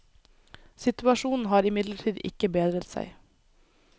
Situasjonen har imidlertid ikke bedret seg.